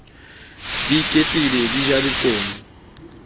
di iketlile di ja lekomo